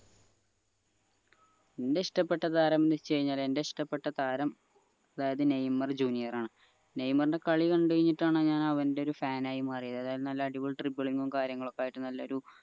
എന്റെ ഇഷ്ടപെട്ട താരം മെസ്സി തന്നെയാണ് എന്റെ ഇഷ്ടപെട്ട താരം അതായത് നെയ്മർ ജൂനിയറാണ് നെയ്മറിന്റെ കളി കണ്ട് കഴിഞ്ഞിട്ടാണ് ഞാൻ അവന്റെ ഒരു fan ആയി മാറിയത് അതായത് നല്ല അടിപൊളി dribbling ഉം കാര്യങ്ങളൊക്കെ ആയിട്ട് നല്ലൊരു